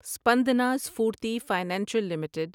Spandana Sphoorty financial limited